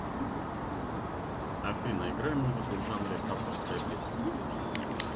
афина играй музыку в жанре авторская песня